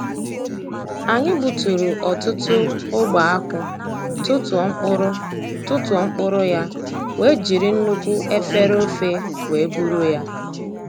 Anyi gbuturu ọtụtụ ogbe akwụ, tụtụọ mkpụrụ tụtụọ mkpụrụ ya wee jiri nnukwu efere ofe wee buru ya